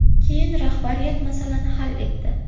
Keyin rahbariyat masalani hal etdi.